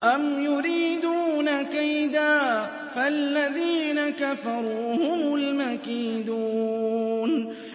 أَمْ يُرِيدُونَ كَيْدًا ۖ فَالَّذِينَ كَفَرُوا هُمُ الْمَكِيدُونَ